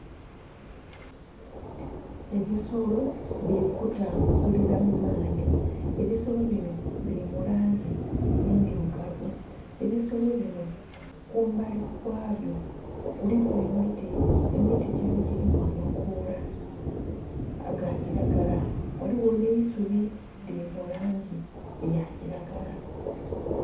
Ebisolo biri kutambulila mu maadhi, ebisolo bino biri mu langi endhirugavu, ebisolo bino kumbali kwabyo kuliku emiti emiti gino giliku amakoola aga kilagala ghaligho neisubi rili mu langi eyakilagala.